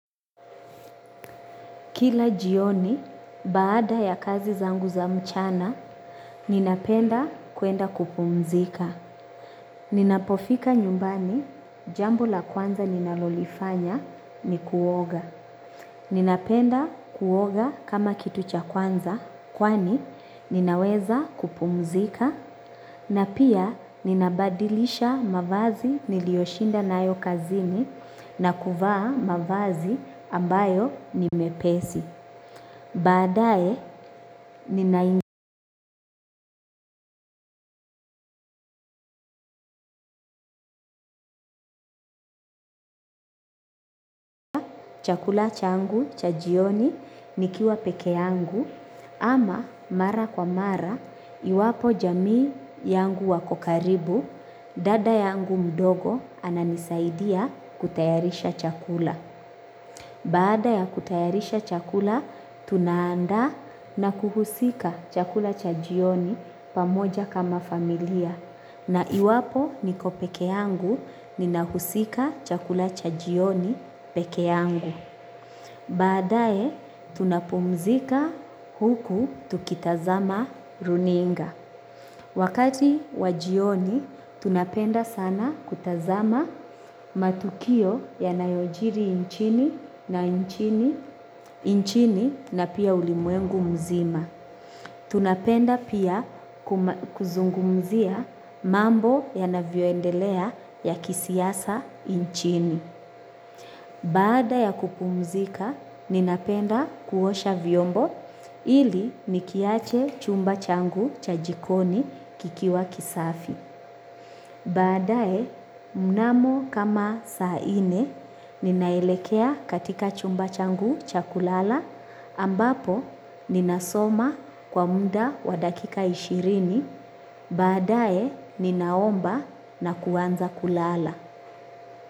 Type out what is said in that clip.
Kila jioni, baada ya kazi zangu za mchana, ninapenda kuenda kupumzika. Ninapofika nyumbani, jambo la kwanza ninalolifanya, ni kuoga. Ninapenda kuoga kama kitu cha kwanza, kwani, ninaweza kupumzika. Na pia, ninabadilisha mavazi niliyoshinda na ayo kazini na kuvaa mavazi ambayo ni mepesi. Badae ninaingi chakula changu chajioni nikiwa peke yangu ama mara kwa mara iwapo jamii yangu wakokaribu dada yangu mdogo ananisaidia kutayarisha chakula. Baada ya kutayarisha chakula, tuna andaa na kuhusika chakula chajioni pamoja kama familia. Na iwapo niko peke yangu, ninahusika chakula chajioni peke yangu. Baadae, tunapumzika huku tukitazama runinga. Wakati wajioni, tunapenda sana kutazama matukio ya nayojiri inchini na inchini na pia ulimwengu mzima. Tunapenda pia kuzungumzia mambo ya navyoendelea ya kisiasa inchini. Baada ya kupumzika, ninapenda kuosha vyombo ili nikiache chumba changu cha jikoni kikiwa kisafi. Baadae, mnamo kama saa ine, ninaelekea katika chumba changu cha kulala ambapo ninasoma kwa muda wa dakika ishirini. Baadae, ninaomba na kuanza kulala.